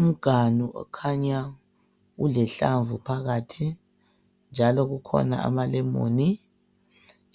Umganu okhanya ulehlamvu phakathi njalo kukhona amalemoni.